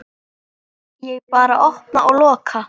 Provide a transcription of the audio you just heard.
Ég bara opna og loka.